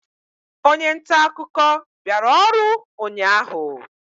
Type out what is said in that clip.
onye nta akụkọ bịara ọrụ ụnyahụ?